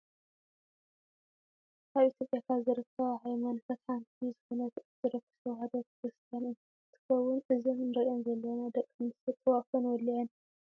ኣብ ኢትዮጵያ ካብ ዝርከባ ሃይማኖታት ሓንቲ ዝኮነት ኦርቶዶክስ ተዋህዶ ክርስትያን እንትከውን እዘን ንርኤን ዘለና ደቂ ኣንስትዮ ጥዋፍ ወሊዓን እንዳተማሃለላ እየን። ንስኩም'ከ ተማህሊልኩም ትፈልጡ ዶ ?